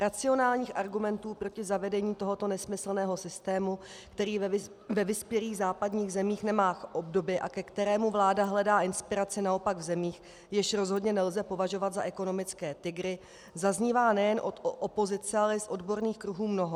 Racionálních argumentů proti zavedení tohoto nesmyslného systému, který ve vyspělých západních zemích nemá obdoby a ke kterému vláda hledá inspiraci naopak v zemích, jež rozhodně nelze považovat za ekonomické tygry, zaznívá nejen od opozice, ale i z odborných kruhů mnoho.